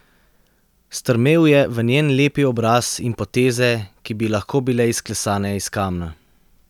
Strmel je v njen lepi obraz in poteze, ki bi lahko bile izklesane iz kamna.